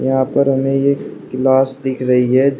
यहां पर हमें ये क्लास दिख रही है।--